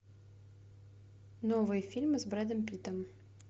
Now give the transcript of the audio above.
новые фильмы с брэдом питтом